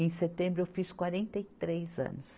Em setembro eu fiz quarenta anos.